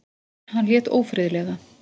Hann lét ófriðlega.